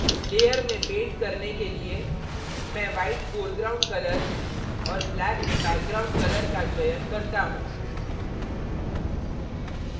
layer में paint करने के लिए मैं white foreground colour और black background colour का चयन करता हूँ